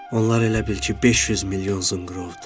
Onlar elə bil ki, 500 milyon zınqırovdur.